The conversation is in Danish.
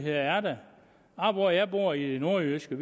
er der oppe hvor jeg bor i det nordjyske